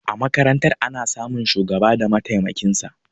A makarantar ana samun shugaba da matemakinsa